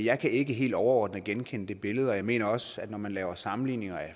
jeg kan ikke helt overordnet kende det billede og jeg mener også at når man laver sammenligninger